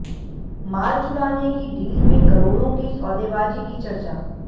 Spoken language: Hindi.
माल छुड़ाने की डील में करोड़ों की सौदेबाजी की चर्चा